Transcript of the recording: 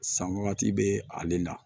San wagati bɛ ale la